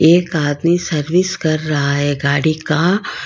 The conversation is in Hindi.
एक आदमी सर्विस कर रहा है गाड़ी का।